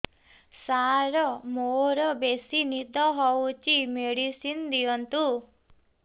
ସାର ମୋରୋ ବେସି ନିଦ ହଉଚି ମେଡିସିନ ଦିଅନ୍ତୁ